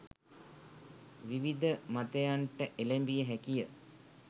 විවිධ මතයන්ට එළැඹිය හැකිය